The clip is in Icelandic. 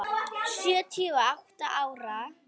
Sjötíu og átta ára.